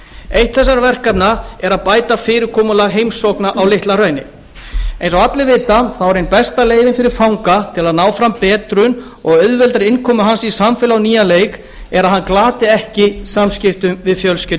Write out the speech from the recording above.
eitt þessara verkefna er að bæta fyrirkomulag heimsókna á litla hrauni eins og allir vita er ein besta leiðin fyrir fanga til að ná fram betrun og auðveldari innkomu hans í samfélagið á nýjan leik að hann glati ekki samskiptum við fjölskyldu